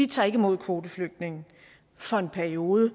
tager ikke imod kvoteflygtninge for en periode